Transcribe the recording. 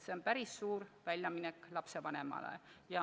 See on päris suur väljaminek lapsevanemale.